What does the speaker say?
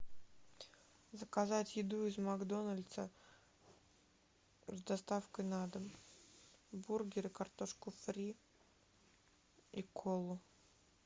заказать еду из макдональдса с доставкой на дом бургер и картошку фри и колу